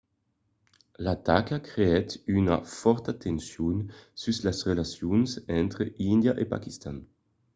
l'ataca creèt una fòrta tension sus las relacions entre índia e paquistan